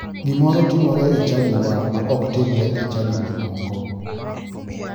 Gimoro timoro e chadiwa ma ok timre e chadi ma moko.